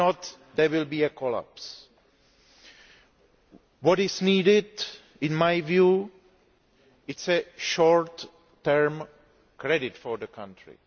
If not, there will be a collapse. What is needed, in my view, is short term credit for the country.